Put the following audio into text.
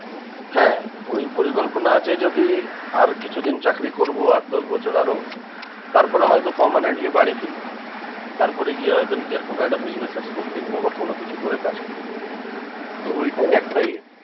হ্যাঁ ওই পরিকল্পনা আছে যদি আর কিছু দিন চাকরি করবো আট দশ বছর আরও তারপর হয়তো permanently বাড়ি ফিরবো। তারপরে গিয়ে হয়তো নিজের কোনো একটা business এর scope দেখবো বা কোনোকিছু করে কাজ করবো তো ঐটাই একটা ইয়ে